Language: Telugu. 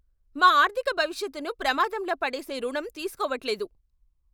మా ఆర్థిక భవిష్యత్తును ప్రమాదంలో పడేసే రుణం తీసుకోవట్లేదు!